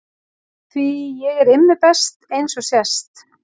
Því ég er Immi best eins og sést.